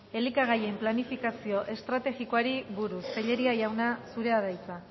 elikagaien planifikazio estrategikoari buruz tellería jauna zurea da hitza